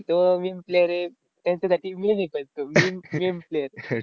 तो meme player आहे, त्यांच्यासाठी मी लिहितोय तो meme meme player आहे.